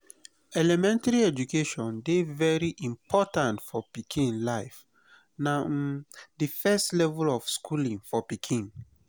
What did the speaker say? elementry education dey very important for pikin life na um di first level of schooling for pikin